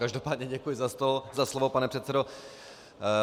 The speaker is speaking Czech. Každopádně děkuji za slovo, pane předsedo.